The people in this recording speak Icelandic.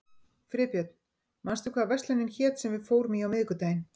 Friðbjörn, manstu hvað verslunin hét sem við fórum í á miðvikudaginn?